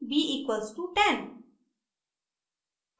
b=10